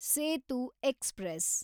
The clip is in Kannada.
ಸೇತು ಎಕ್ಸ್‌ಪ್ರೆಸ್